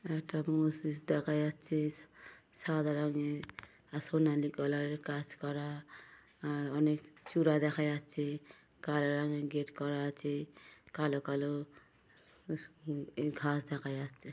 একটা মসজিদ দেখা যাচ্ছে সাদা রঙের আর সোনালী কালার এর কাজ করা আর অনেক চূড়া দেখা যাচ্ছে কালো রঙের গেট করা আছে কালো কালো স - স এ ঘাস দেখা যাচ্ছে ।